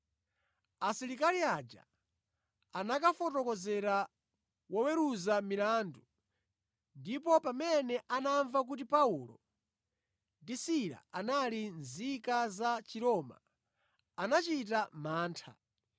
Asilikali aja anakafotokozera woweruza milandu ndipo pamene anamva kuti Paulo ndi Sila anali nzika za Chiroma, anachita mantha.